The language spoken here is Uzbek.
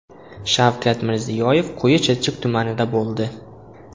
Shavkat Mirziyoyev Quyi Chirchiq tumanida bo‘ldi.